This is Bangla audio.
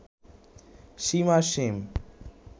সীম আর সীম